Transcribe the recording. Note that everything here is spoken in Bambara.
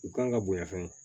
U kan ka bonya fɛn o